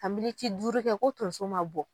Ka militi duuru kɛ ko tonso ma bɔ.